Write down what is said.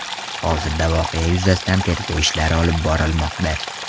Hozirda voqea yuzasidan tergov ishlari olib borilmoqda.